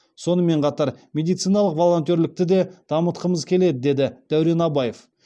сонымен қатар медициналық волонтерлікті де дамытқымыз келеді деді дәурен абаев